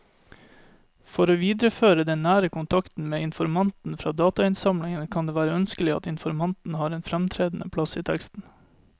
For å videreføre den nære kontakten med informanten fra datainnsamlingen kan det være ønskelig at informanten har en fremtredende plass i teksten.